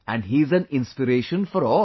And he is an inspiration for all